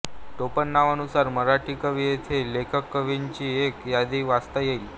टोपणनावानुसार मराठी कवी येथे लेखककवींची एक यादी वाचता येईल